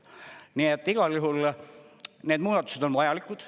Nii et igal juhul need muudatused on vajalikud.